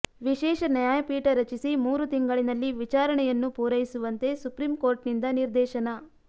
ವಿಶೇಷ ನ್ಯಾಯಪೀಠ ರಚಿಸಿ ಮೂರು ತಿಂಗಳಿನಲ್ಲಿ ವಿಚಾರಣೆಯನ್ನು ಪೂರೈಸುವಂತೆ ಸುಪ್ರೀಂ ಕೋರ್ಟ್ನಿಂದ ನಿರ್ದೇಶನ